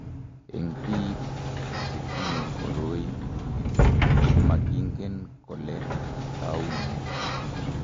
Eng' biko che tinye koroi ito ko makingen kole tou nee.